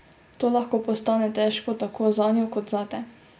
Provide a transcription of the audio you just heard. To lahko postane težko tako zanjo kot zate.